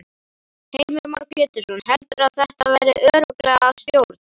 Heimir Már Pétursson: Heldurðu að þetta verði örugglega að stjórn?